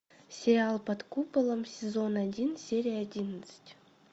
сериал под куполом сезон один серия одиннадцать